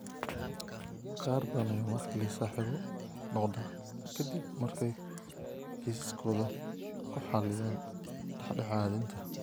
Qaar badan ayaa mar kale saaxiibo noqda ka dib markay kiisaskooda ku xalliyaan dhexdhexaadinta.